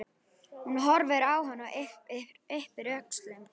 Hún horfir á hann og ypptir öxlum.